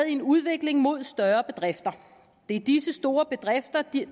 en udvikling mod større bedrifter det er disse store bedrifter